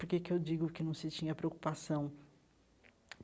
Por que que eu digo que não se tinha preocupação?